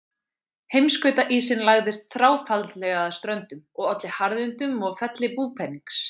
Heimskautaísinn lagðist þráfaldlega að ströndum og olli harðindum og felli búpenings.